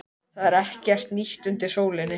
Það var ekkert nýtt undir sólinni.